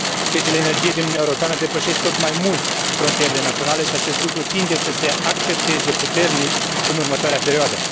Piețele energiei din Uniunea Europeană depășesc tot mai mult frontierele naționale și acest lucru tinde să se accentueze puternic în următoarea perioadă.